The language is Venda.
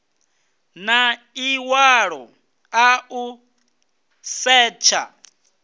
na ḽiṅwalo ḽa u setsha